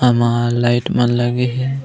हमल लाइट मन लगे हे।